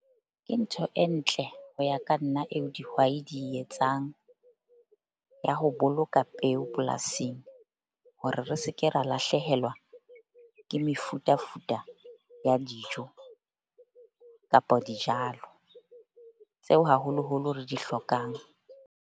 Ke ntho e ntle ho ya ka nna eo dihwai di etsang ya ho boloka peo polasing. Hore re se ke ra lahlehelwa ke mefutafuta ya dijo kapa dijalo tseo haholoholo re di hlokang.